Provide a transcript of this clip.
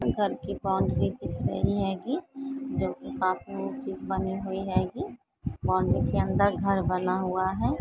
घर की बॉउंड्री दिख रही हेंगी वो चीज़ बनी हुयी हेगी बॉउंड्री के अंदर घर बना हुआ है।